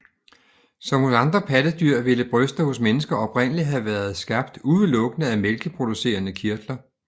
Som hos andre pattedyr ville bryster hos mennesker oprindeligt have været skabt udelukkede af mælkeproducerende kirtler